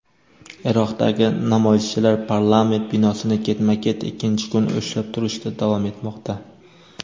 Iroqdagi namoyishchilar parlament binosini ketma-ket ikkinchi kun ushlab turishda davom etmoqda.